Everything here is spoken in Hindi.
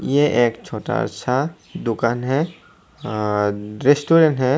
ये एक छोटा सा दुकान है अ रेस्टोरेंट है।